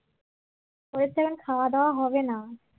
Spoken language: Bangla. ওদের তো এখন খাওয়া-দাওয়া হবে না